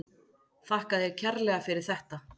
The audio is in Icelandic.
Þakka þér kærlega fyrir þetta.